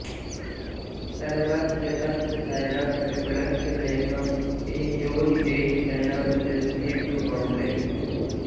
सर्वत्र तत्र शरणं कृपणस्य मे त्वं एह्योहि देहि चरणं शिरसीन्दुमौले